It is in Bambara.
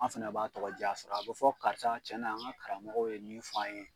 An fɛnɛ b'a tɔgɔ jaa sɔrɔ a bɛ fɔ karisa cɛn na an ka karamɔgɔw ye min fɔ an ye.